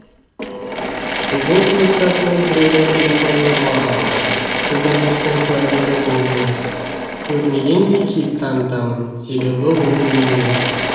сіздің сыныптасыңыз біреудің телефонын ұрлап алды сіз ұрлықтың куәгері болдыңыз көрмегендей кейіп танытамын себебі ол менен